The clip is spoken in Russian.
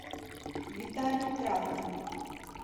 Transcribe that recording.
виталий травкин